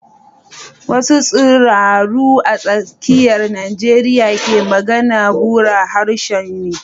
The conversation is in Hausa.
Wasu tsiraru a tsakiyar Najeriya ke magana, burah harshe ne.